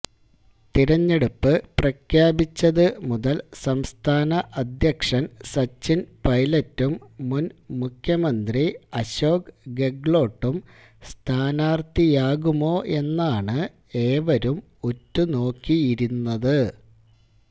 തെരഞ്ഞെടുപ്പ് പ്രഖ്യാപിച്ചത് മുതല് സംസ്ഥാന അധ്യക്ഷന് സച്ചിന് പെെലറ്റും മുന് മുഖ്യമന്ത്രി അശോക് ഗെഹ്ലോട്ടും സ്ഥാനാര്ഥിയാകുമോയെന്നാണ് ഏവരും ഉറ്റുനോക്കിയിരുന്നത്